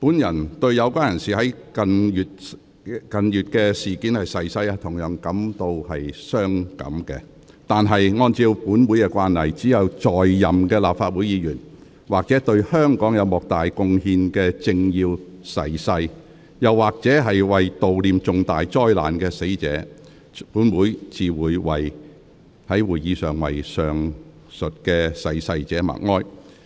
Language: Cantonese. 本人對於有關人士在近月事件中逝世同樣傷感，但按照本會的慣例，只有在任的立法會議員或對香港有莫大貢獻的政要逝世時，又或者為悼念重大災難的死難者，本會才會在會議上為上述逝世者默哀。